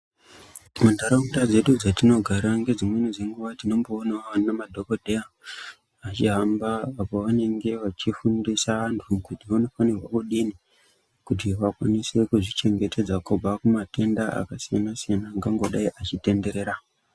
Muntaraunda dzedu dzetunogara ngedzimweni nguva tinoona madhokodheya vachihamba apo pavanenge vachifundisa vanhu kuti vanofanirwe kudii kuti vakwanise kuzvichengetedza kubva matenda akasiyana siyana akangodai achitenderera .